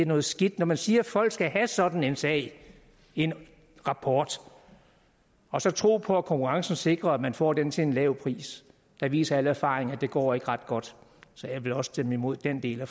noget skidt når man siger at folk skal have sådan en sag en rapport og så tro på at konkurrencen sikrer at man får den til en lav pris viser al erfaring at det ikke går ret godt så jeg vil også stemme imod den del af